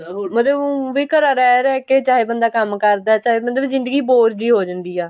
ਮਤਲਬ ਊਂਵੀ ਘਰਾਂ ਰਹਿ ਰਹਿ ਕੇ ਚਾਹੇ ਬੰਦਾ ਕੰਮ ਕਰਦਾ ਚਾਹੇ ਬੰਦੇ ਜ਼ਿੰਦਗੀ boor ਜੀ ਹੋ ਜਾਂਦੀ ਆ